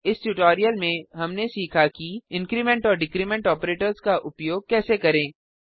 इस ट्यूटोरियल में हमने सीखा कि इंक्रीमेंट और डिक्रीमेंट ऑपरेटर्स का उपयोग कैसे करें